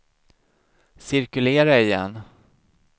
cirkulera igen